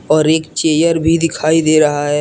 और एक चेयर भी दिखाई दे रहा है।